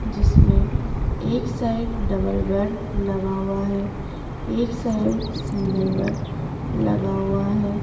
जिसमें एक side double bed लगा हुआ है एक साइड सिंगल बेड लगा हुआ है।